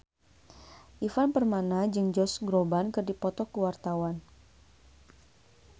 Ivan Permana jeung Josh Groban keur dipoto ku wartawan